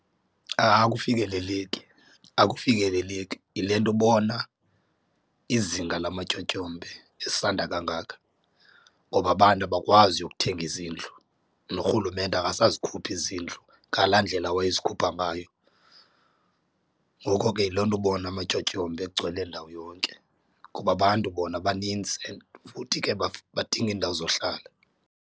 Akufikeleleki akufikeleleki yile nto ubona izinga lamatyotyombe esanda kangaka ngoba abantu abakwazi ukuyokuthenga izindlu norhulumente akasazikhuphi izindlu ngalaa ndlela wayezikhupha ngayo. Ngoko ke yiloo nto ubona amatyotyombe egcwele ndawo yonke kuba abantu bona banintsi and futhi ke badinga iindawo zohlala.